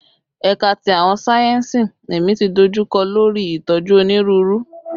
Ẹka ti Awọn sáyẹnsì Ẹmi ti dojukọ lori itoju Oniruuru